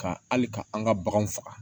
Ka hali ka an ka baganw faga